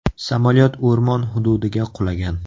Samolyot o‘rmon hududiga qulagan.